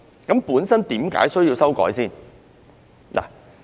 究竟為何需要修訂？